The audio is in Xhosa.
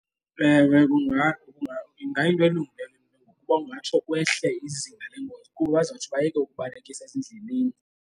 Ewe, ingayinto elungileyo uba kungatsho kwehle izinga leengozi kakhulu bazotsho bayeke ukubalekisa ezindleleni.